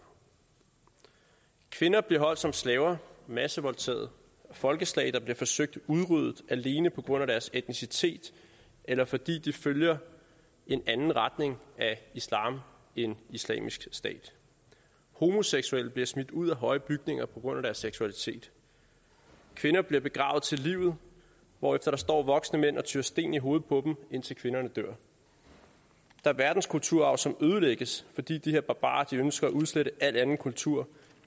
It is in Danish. kvinder bliver holdt som slaver massevoldtaget folkeslag bliver forsøgt udryddet alene på grund af deres etnicitet eller fordi de følger en anden retning af islam end islamisk stat homoseksuelle bliver smidt ud af høje bygninger på grund af deres seksualitet kvinder bliver begravet til livet hvorefter der står voksne mænd og tyrer sten i hovedet på dem indtil kvinderne dør der er verdenskulturarv som ødelægges fordi de her barbarer ønsker at udslette al anden kultur